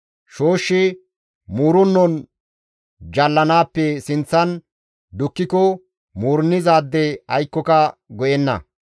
Shooshshi muurennon jallanaappe sinththan dukkiko muurennizaade aykkoka go7enna.